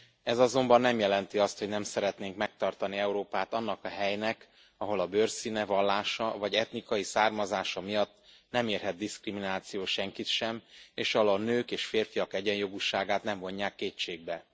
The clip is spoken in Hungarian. Ez azonban nem jelenti azt, hogy nem szeretnénk megtartani Európát annak a helynek, ahol a bőrszíne, vallása vagy etnikai származása miatt nem érhet diszkrimináció senkit sem, és ahol a nők a férfiak egyenjogúságát nem vonják kétségbe.